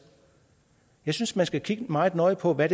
jeg synes man skal kigge meget nøje på hvad